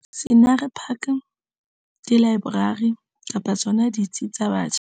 Scenery Park, dilaeborari kapa tsona ditsi tsa batjha.